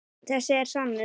Þessi er sannur.